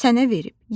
Sənə verib,